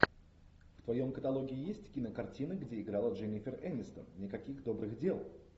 в твоем каталоге есть кинокартина где играла дженнифер энистон никаких добрых дел